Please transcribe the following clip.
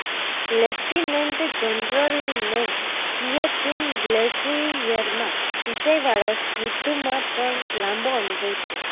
lieutenant જનરલને સિયાચિન ગ્લેશિયરમાં ઉંચાઈ વાળા યુદ્ધમાં પણ લાંબો અનુભવ છે